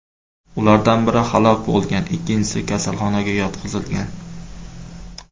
Ulardan biri halok bo‘lgan, ikkinchisi kasalxonaga yotqizilgan.